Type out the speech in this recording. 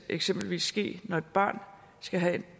eksempelvis ske når et barn skal have et